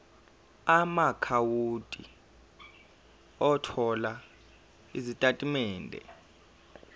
amaakhawunti othola izitatimende